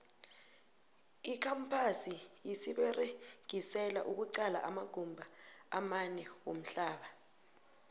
icampasi siyiberegisela ukuqala amagumba amanewamhlaba